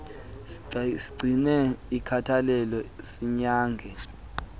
sigcine inkathalelo sinyange